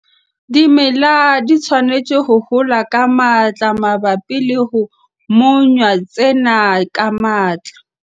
Dimela di tshwanetse ho hola ka matla mabapi le ho monya tsena ka matla.